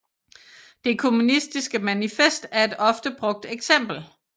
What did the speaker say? Det Kommunistiske Manifest er et ofte brugt eksempel